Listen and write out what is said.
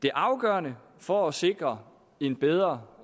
er afgørende for at sikre en bedre